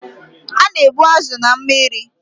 A na-egbu azụ na mmiri.